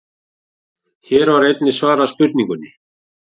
Hér var einnig svarað spurningunni: